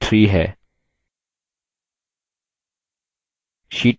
sheet 1 पर click करें